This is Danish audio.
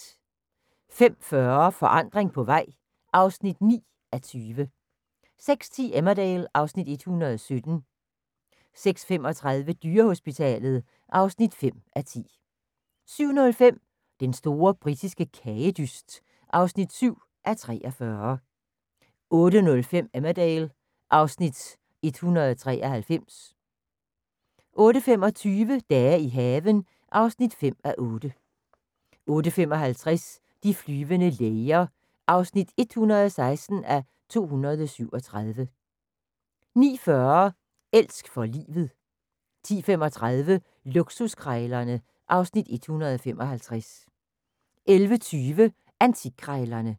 05:40: Forandring på vej (9:20) 06:10: Emmerdale (Afs. 117) 06:35: Dyrehospitalet (5:10) 07:05: Den store britiske kagedyst (7:43) 08:05: Emmerdale (Afs. 193) 08:25: Dage i haven (5:8) 08:55: De flyvende læger (116:237) 09:40: Elsk for livet 10:35: Luksuskrejlerne (Afs. 155) 11:20: Antikkrejlerne (Afs. 160)